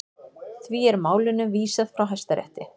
Því er málinu vísað frá Hæstarétti